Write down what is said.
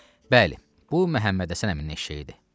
Bəli, bu Məhəmmədhəsən əminin eşşəyi idi.